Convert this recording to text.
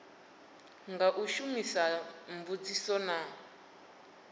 nga u shumisa mbudziso na